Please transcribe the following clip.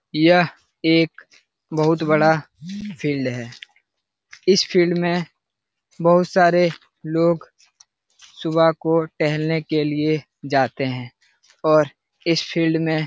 यह एक बहुत बड़ा फिल्ड है | इस फिल्ड में बहुत सारे लोग सुबह को टेल्हने के लिए जाते है और इस फील्ड में --